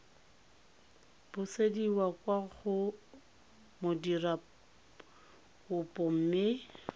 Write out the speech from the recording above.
busediwa kwa go modirakopo mme